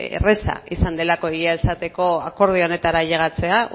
erraza izan delako egia esateko akordio honetara ailegatzea